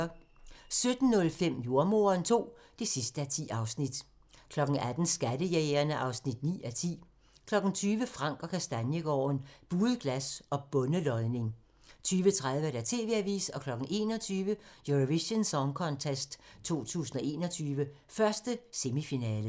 17:05: Jordemoderen II (10:10) 18:00: Skattejægerne (9:10) 20:00: Frank & Kastaniegaarden – Buet glas og bondelodning 20:30: TV-avisen 21:00: Eurovision Song Contest 2021, 1. semifinale